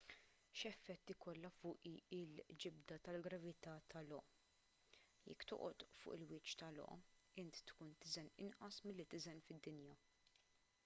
x'effett ikollha fuqi l-ġibda tal-gravità ta' io jekk toqgħod fuq il-wiċċ ta' io int tkun tiżen inqas milli tiżen fid-dinja